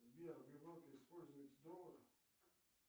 сбер в европе используются доллары